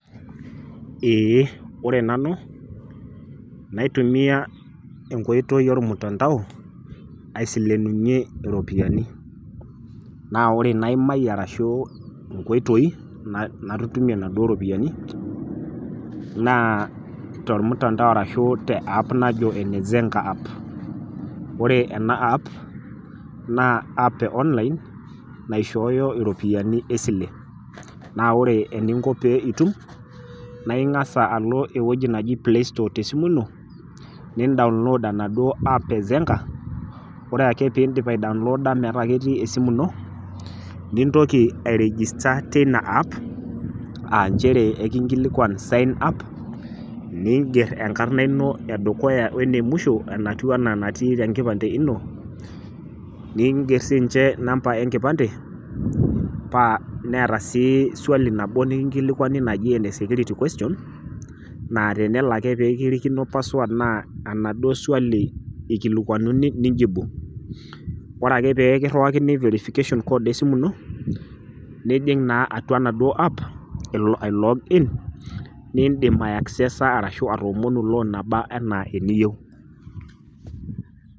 Eeh, ore nanu, naitumia enkoitoi olmutandao aisilenunye, iropiani. Naa ore inaimayie arashu inkoitoi natutumie Ina duo ropiani naa tolmutandao arashu te app najo ene Zenka app. Ore ena app e online naishooyo iropiani esile, naa ore eninko pee itum naa ing'as alo ewueji naji Playstore te esimu ino nindaunlood enaduo app e Zenka , ore ake pee indip aidaunlooda metaa etii esimu ino, nintoki airigista teina app aa nchere ekingilikuan sign up, niinger enkarna ino e dukuya wene musho enatiu anaa enatiu te enkipande ino, niinger sininche inambai enkipande, paa neata sii suali nabo nikingolilwani enajii ena security question naa tenelo ake pee kirikino password naa enaduo suali eikilikwanuni, niinjibu. Ore ake pee kiiriwakini verification code esimu ino, nijing' naa atua enaduo app nijing' ailog inn, niindim aiaksesa arashu iomonu loon nabaa ana eniyou.